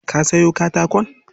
Ka sayo katakon?